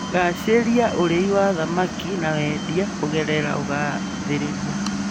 Gacĩria ũrĩi wa thamaki na wendia kũgerera ũgathĩrĩria